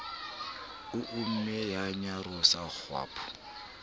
o imme ya nyarosa kgwapo